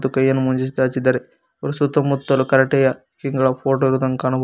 ಕೈ ಅನ್ನು ಮುಂದೆ ಚಾಚಿದ್ದಾರೆ ಅವರ ಸುತ್ತ ಮುತ್ತಲು ಕರಾಟೆಯ ಫೋಟೋ ಇರೋದನ್ನು ಕಾಣಬಹುದು.